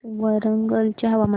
वरंगल चे हवामान